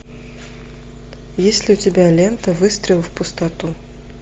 есть ли у тебя лента выстрел в пустоту